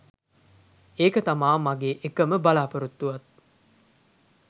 ඒක තමා මගේ එකම බලා‍පොරොත්තුවත්..